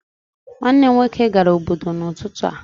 Nwanne m nwoke gara obodo n'ụtụtụ a